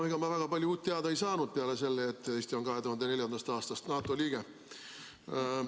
No ega ma väga palju uut teada ei saanud peale selle, et Eesti on 2004. aastast NATO liige.